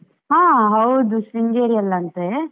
ಹಾ ಹೌದು ಶೃಂಗೇರಿಯಲ್ಲಿ ಅಂತೆ.